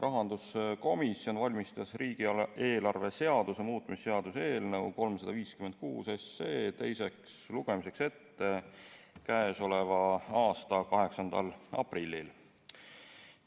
Rahanduskomisjon valmistas riigieelarve seaduse muutmise seaduse eelnõu 356 teiseks lugemiseks ette k.a 8. aprillil.